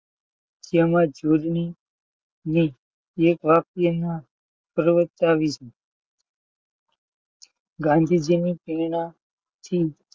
તેમજ જોડણી ને એક વાક્યમાં પ્રવક્તાવી ગાંધીજીની પ્રેરણા થી,